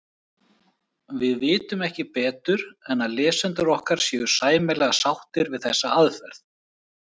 við vitum ekki betur en að lesendur okkar séu sæmilega sáttir við þessa aðferð